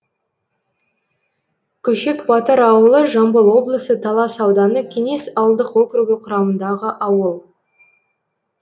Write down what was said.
көшек батыр ауылы жамбыл облысы талас ауданы кеңес ауылдық округі құрамындағы ауыл